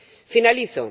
Finalizo.